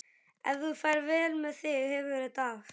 Ef þú ferð vel með þig hefurðu þetta af.